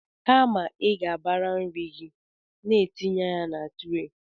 Kama ị ga-abara nri gị n’aka tinye ya na tre